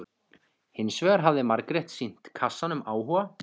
Hins vegar hafði Margrét sýnt kassanum áhuga.